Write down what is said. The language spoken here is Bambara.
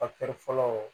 fɔlɔ